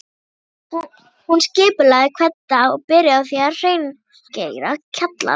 Hún skipulagði hvern dag og byrjaði á að hreingera kjallarann